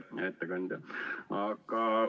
Hea ettekandja!